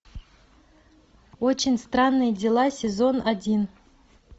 очень странные дела сезон один